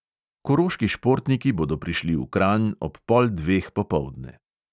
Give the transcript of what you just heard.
Koroški športniki bodo prišli v kranj ob pol dveh popoldne.